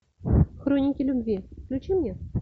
хроники любви включи мне